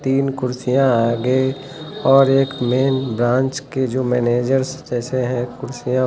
तीन कुर्सियां आगे और एक मेन ब्रांच के जो मैनेजर जैसे हैं कुर्सियां--